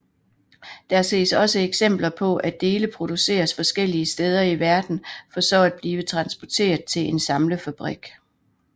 Der ses også eksempler på at dele produceres forskellige steder i verden for så at blive transporteret til en samlefabrik